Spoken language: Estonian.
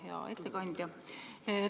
Hea ettekandja!